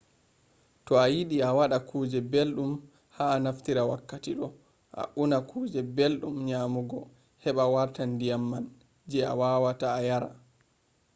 to a yiɗi a waɗa kuje belɗum a naftira wakkati ɗo a unna kuje belɗum nyamugo heɓa warta ndiyam man je awawata a yara